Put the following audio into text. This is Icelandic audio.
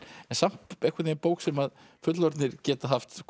samt bók sem fullorðnir geta haft